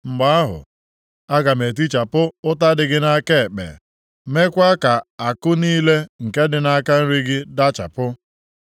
Mgbe ahụ, aga m etichapụ ụta dị gị nʼaka ekpe, meekwa ka àkụ niile nke dị nʼaka nri gị dachapụ.